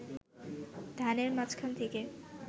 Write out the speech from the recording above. ধানের মাঝখান থেকে